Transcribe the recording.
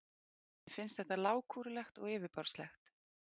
Mér finnst þetta lágkúrulegt og yfirborðslegt.